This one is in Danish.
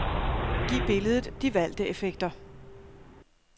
Giv billedet de valgte effekter.